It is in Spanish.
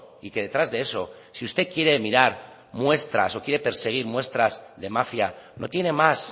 y que detrás de eso si usted quiere mirar muestras o quiere perseguir muestras de mafia no tiene más